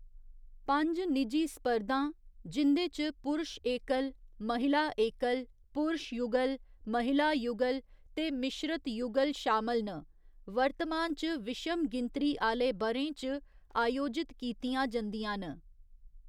पंज निजी स्पर्धां, जिं'दे च पुरश एकल, महिला एकल, पुरश युगल, महिला युगल ते मिश्रत युगल शामल न, वर्तमान च विशम गिनतरी आह्‌‌‌ले ब'रें च आयोजित कीतियां जंदियां न।